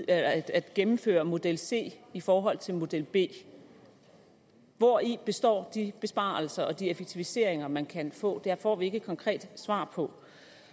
at gennemføre model c i forhold til model b hvori består de besparelser og de effektiviseringer man kan få der får vi ikke et konkret svar på